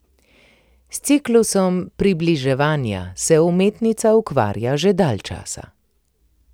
S ciklusom Približevanja se umetnica ukvarja že dalj časa.